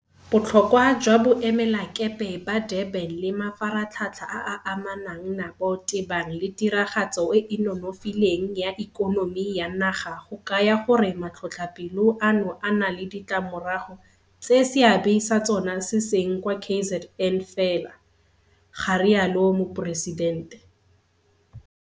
Botlhokwa jwa Boemelakepe ba Durban le mafaratlhatlha a a amanang nabo tebang le tiragatso e e nonofileng ya ikonomi ya naga go kaya gore matlhotlhapelo ano a na le ditlamorago tse seabe sa tsona se seng kwa KZN fela,' ga rialo Moporesidente.